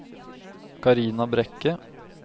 Carina Brekke